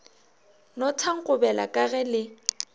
no thankobela ka ge le